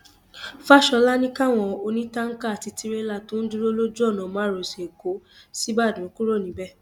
fàshólà ní káwọn onítànkà àti tìrẹlà tó ń dúró lójú ọnà márosẹ ẹkọ ṣíbàdàn kúrò níbẹ